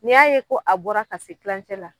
N'i y'a ye ko a bɔra ka se kilancɛ la,